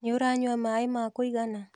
Nĩ ũranyua maĩ ma kũigana?